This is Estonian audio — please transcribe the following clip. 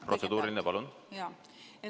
Protseduuriline, palun!